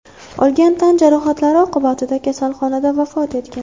olgan tan jarohatlari oqibatida kasalxonada vafot etgan.